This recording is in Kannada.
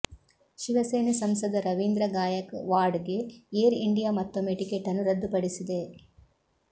ಶಿವಸೇನೆ ಸಂಸದ ರವೀಂದ್ರ ಗಾಯಕ್ ವಾಡ್ ಗೆ ಏರ್ ಇಂಡಿಯಾ ಮತ್ತೊಮ್ಮೆ ಟಿಕೆಟನ್ನು ರದ್ದುಪಡಿಸಿದೆ